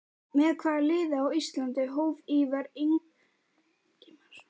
Með hvaða liði á Íslandi hóf Ívar Ingimarsson ferilinn?